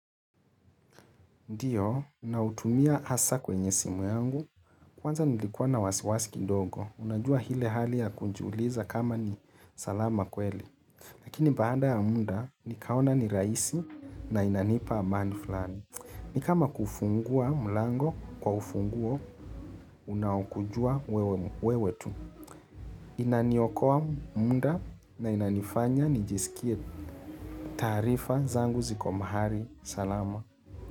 Ndio, nautumia hasa kwenye simu yangu. Kwanza nilikua na wasiwasi kidogo. Unajua ile hali ya kujiuliza kama ni salama kweli. Lakini baada ya muda, nikaona ni rahisi na inanipa amani fulani. Ni kama kuufungua mlango kwa ufunguo unaokujua wewe tu. Inaniokoa muda na inanifanya nijisikie taarifa zangu ziko mahali salama.